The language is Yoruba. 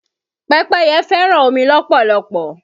Pẹ́pẹ́yẹ fẹ́ràn omi lọ́pọ̀lọpọ̀.